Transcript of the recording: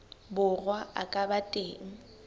borwa a ka ba teng